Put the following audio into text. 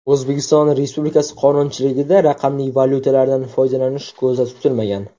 O‘zbekiston Republikasi qonunchiligida raqamli valyutalardan foydalanish ko‘zda tutilmagan.